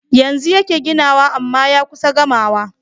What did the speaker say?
Yanzu yake ginawa amma ya kusa gamawa